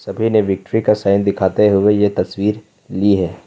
सभी ने विक्ट्री का साइन दिखाते हुए यह तस्वीर ली है।